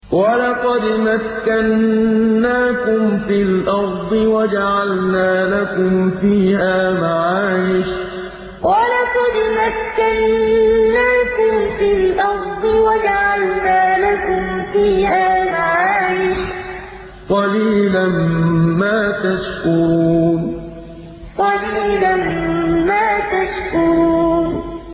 وَلَقَدْ مَكَّنَّاكُمْ فِي الْأَرْضِ وَجَعَلْنَا لَكُمْ فِيهَا مَعَايِشَ ۗ قَلِيلًا مَّا تَشْكُرُونَ وَلَقَدْ مَكَّنَّاكُمْ فِي الْأَرْضِ وَجَعَلْنَا لَكُمْ فِيهَا مَعَايِشَ ۗ قَلِيلًا مَّا تَشْكُرُونَ